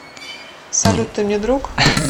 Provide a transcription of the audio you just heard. салют ты мне друг